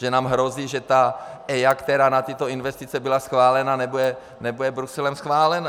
Že nám hrozí, že ta EIA, která na tyto investice byla schválena, nebude Bruselem akceptována.